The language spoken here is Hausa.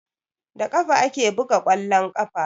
Da ƙafa ake buga ƙwallon ƙafa